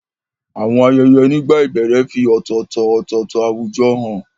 Àwọn ayẹyẹ nígbà ìbẹ̀rẹ̀ fi ọ̀tọ̀ọ̀tọ̀ ọ̀tọ̀ọ̀tọ̀ àwùjọ hàn.